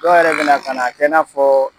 Dɔw yɛrɛ bɛna ka n'a kɛ i n'a fɔ